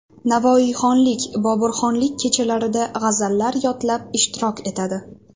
Navoiyxonlik, Boburxonlik kechalarida g‘azallar yodlab ishtirok etadi.